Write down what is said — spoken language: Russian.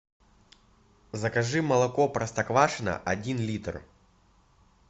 закажи молоко простоквашино один литр